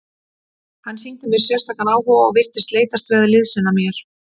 Hann sýndi mér sérstakan áhuga og virtist leitast við að liðsinna mér.